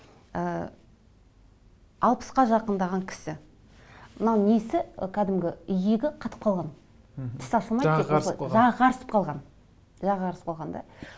ы алпысқа жақындаған кісі мына несі кәдімгі иегі қатып қалған мхм жағы қарысып қалған жағы қарысып қалған да